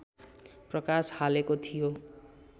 प्रकाश हालेको थियो।